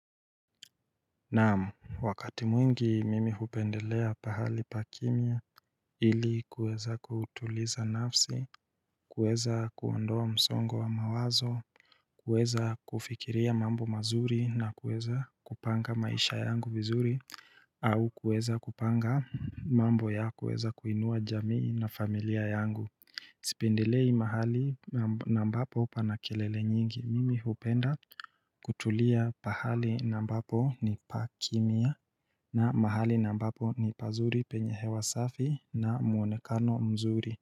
Naam, wakati mwingi mimi hupendelea pahali pa kimya ili kuweza kutuliza nafsi, kuweza kuondoa msongo wa mawazo, kuweza kufikiria mambo mazuri na kuweza kupanga maisha yangu vizuri, au kuweza kupanga mambo ya kuweza kuinua jamii na familia yangu sipendelei mahali na ambapo pana kelele nyingi mimi hupenda kutulia pahali na ambapo ni pa kimya na mahali ambapo ni pazuri penye hewa safi na muonekano mzuri.